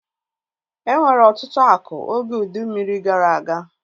E nwere ọtụtụ akụ oge ụdị mmiri gara aga